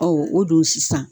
Ɔ o dun sisan